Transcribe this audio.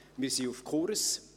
Wir sind auf Kurs.